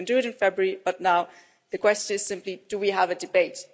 We can do it in February but now the question is simply, do we have a debate?